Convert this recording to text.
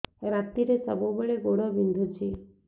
ରାତିରେ ସବୁବେଳେ ଗୋଡ ବିନ୍ଧୁଛି